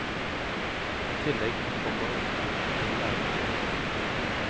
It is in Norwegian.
I tillegg kommer utgifter til lærebøker.